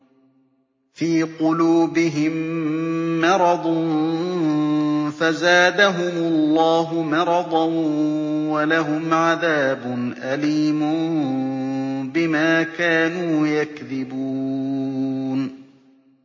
فِي قُلُوبِهِم مَّرَضٌ فَزَادَهُمُ اللَّهُ مَرَضًا ۖ وَلَهُمْ عَذَابٌ أَلِيمٌ بِمَا كَانُوا يَكْذِبُونَ